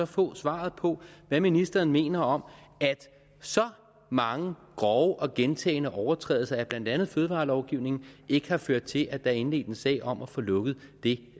få svaret på hvad ministeren mener om at så mange grove og gentagne overtrædelser af blandt andet fødevarelovgivningen ikke har ført til at der er indledt en sag om at få lukket det